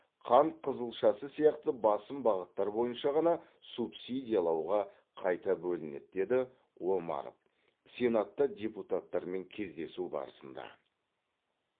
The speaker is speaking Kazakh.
қант қызылшасы сияқты басым бағыттар бойынша ғана субсидиялауға қайта бөлінеді деді омаров сенатта депутаттармен кездесу барысында